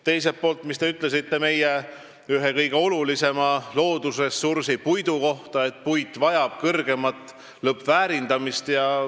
Teisalt, te ütlesite meie ühe kõige olulisema loodusressursi, puidu kohta, et see vajab kõrgemat lõppväärindamist.